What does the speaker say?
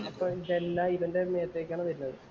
അപ്പൊ ഇതെല്ലാം ഇവന്‍റെ മേത്തേക്കാണ് വരുന്നത്.